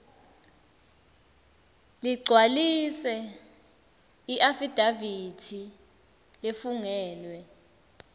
ligcwalise iafidavithi lefungelwe